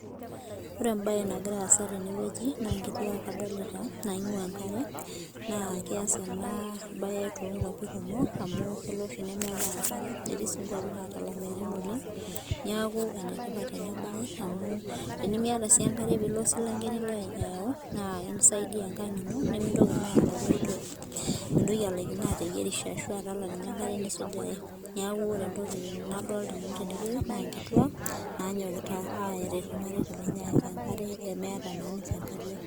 Ore em'bae nagira aasa tenewueji naa ingituak adolita naingwaa engare naa keasa enatoki toongwapi kumok amu kelo oshi nemeetai enkare netii sii ingwapin naata ilameyutin oleng niaku enetipat ena baye amu tenimiyata sii enkare nilo ayau naa is isaidia enkang ino naa mintoki naa alayu ai toki ateyierisho ashu enkare nisujare Niaku enyokita ilmareita lenche ayaki ate inkariak